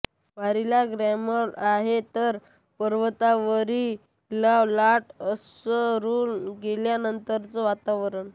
वारीला ग्लॅमर आहे तर परतवारी ला लाट ओसरून गेल्यानंतरचं वातावरण